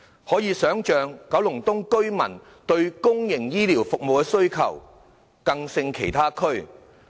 可以想象，九龍東居民對公營醫療服務的需求更勝其他地區。